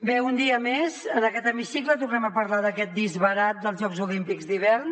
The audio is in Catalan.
bé un dia més en aquest hemicicle tornem a parlar d’aquest disbarat dels jocs olímpics d’hivern